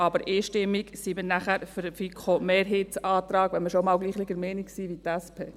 Aber dann sind wir einstimmig für den FiKo-Mehrheitsantrag, wenn wir schon einmal derselben Meinung sind wie die SP.